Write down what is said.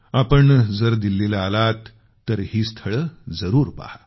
आपण जर दिल्लीला आलात तर ही स्थळे जरूर पहा